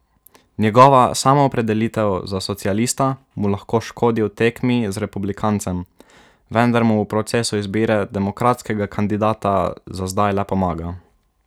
Njegova samoopredelitev za socialista mu lahko škodi v tekmi z republikancem, vendar mu v procesu izbire demokratskega kandidata za zdaj le pomaga.